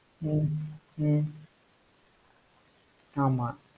உம் உம் ஆமா